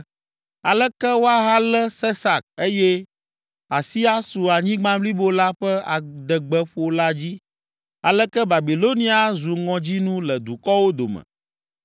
“Aleke woahalé Sesak eye asi asu anyigba blibo la ƒe adegbeƒola dzi! Aleke Babilonia azu ŋɔdzinu le dukɔwo dome!